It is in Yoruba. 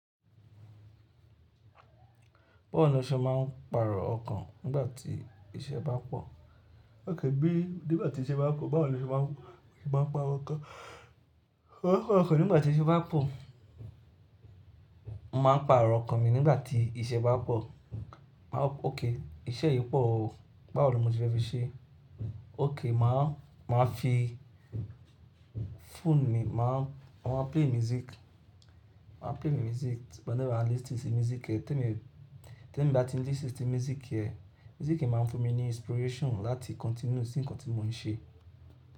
Báwo ni o ṣe máa ń pàrọ̀ ọkàn nígbà tí iṣẹ́ bá pọ̀? Ókay, bí nígbà tí iṣẹ́ bá pò, báwo ni o ṣe máa ń, ṣe máa ń pàrọ̀ ọkàn? Mo máa ń pàrọ̀ ọkàn nígbà tí iṣẹ́ bá pọ̀ máa n pàrọ̀ ọkàn mi nígbà tí iṣẹ́ bá pọ̀. Máa wo pé ọkay, iṣẹ́ yìí pọ̀ o, báwo ni mo se fẹ́ fi ṣe é. Ókay, máa, máa fi phone mi, máa ń, máa ma play music. Máa play mi music whenever i listen si music eh. Tí èmi, tí èmi bá ti listen ti music eh, music eh máa ń fún mi ní inspiration láti continue sí nǹkan tí mò ń ṣe.